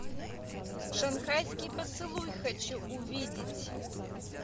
шанхайский поцелуй хочу увидеть